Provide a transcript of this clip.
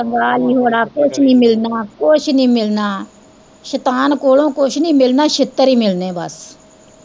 ਕੰਗਾਲ ਨੀ ਹੋਣਾ, ਕੁੱਝ ਨੀ ਮਿਲਣਾ, ਕੁੱਝ ਨੀ ਮਿਲਣਾ ਸੈਤਾਨ ਕੋਲੋ ਕੁੱਝ ਨੀ ਮਿਲਣਾ ਛਿੱਤਰ ਹੀ ਮਿਲਣੇ ਬਸ।